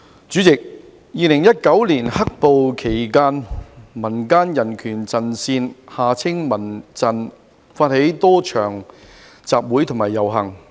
主席 ，2019 年"黑暴"期間，民間人權陣線發起了多場集會和遊行。